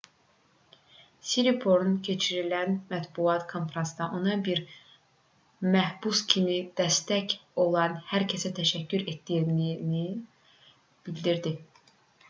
siriporn keçirilən mətbuat konfransında ona bir məhbus kimi dəstək olan hər kəsə təşəkkür etdiyini bildirdi